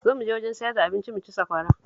Zo mu je wajen sayar da abinci mu ci sakwara